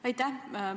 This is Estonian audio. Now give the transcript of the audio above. Aitäh!